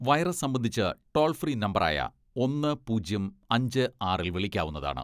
Virus സംബന്ധിച്ച് toll free നമ്പറായ ഒന്ന്, പൂജ്യം, അഞ്ച്, ആറിൽ വിളിക്കാവുന്നതാണ്.